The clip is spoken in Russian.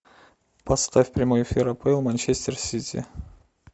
поставь прямой эфир апл манчестер сити